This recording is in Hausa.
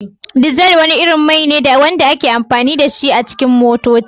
Diesel wani irin mai ne wanda ake amfani da shi a wasu motocin.